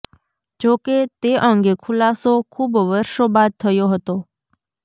જો કે તે અંગે ખુલાસો ખુબ વર્ષો બાદ થયો હતો